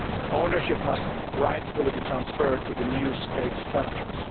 Ownership must rightfully be transferred to the new state structures.